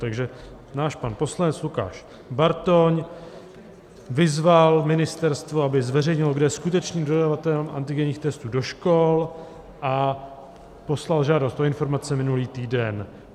Takže náš pan poslanec Lukáš Bartoň vyzval ministerstvo, aby zveřejnilo, kdo je skutečným dodavatelem antigenních testů do škol, a poslal žádost o informace minulý týden.